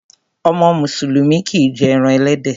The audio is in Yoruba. Ọmọ mùsùlùmí kìí jé eran ẹlẹ́dẹ̀.